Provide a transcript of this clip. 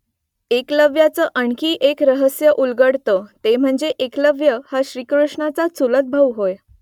एकलव्याचं आणखी एक रहस्य उलगडतं , ते म्हणजे एकलव्य हा श्रीकृष्णाचा चुलतभाऊ होय